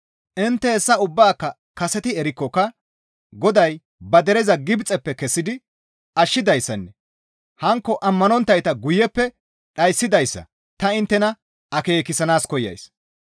Intte hessa ubbaaka kaseti erikkoka Goday ba dereza Gibxeppe kessidi ashshidayssanne hankko ammanonttayta guyeppe dhayssidayssa ta inttena akeekissana koyays.